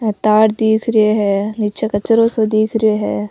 हे तार दिख रिया है नीचे कचरो सो दिख रिया है।